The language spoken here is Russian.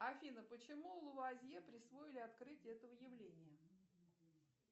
афина почему лавуазье присвоили открытие этого явления